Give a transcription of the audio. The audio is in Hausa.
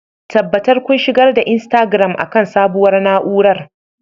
tabbatar kun shigar da Instagram akan sabuwar na'urar